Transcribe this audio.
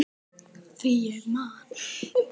Því ég man!